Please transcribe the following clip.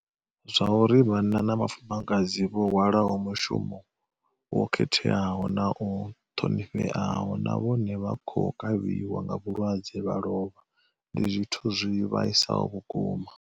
Zwauri vhanna na vhafumakadzi vho hwalaho mushumo wo khetheaho na u ṱhonifheaho na vhone vha khou kavhiwa nga vhulwadze vha lovha ndi zwithu zwi vhaisaho vhukuma.